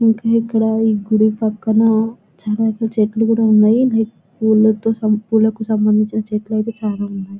ఇంకా ఇక్కడ ఇ గుడి పక్కన చాలా అయితే లైక్ పూలతో పూలకి సంబందించిన చెట్లు అయితే చాలా ఉన్నాయే.